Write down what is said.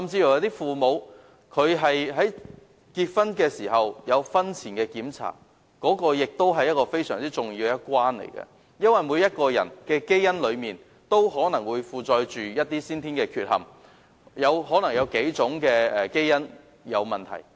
有父母甚至會在結婚前進行婚前檢查，這是非常重要的一關，因為每個人的基因可能有先天缺憾，可能是數組基因有問題。